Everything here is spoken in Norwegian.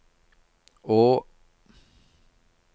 å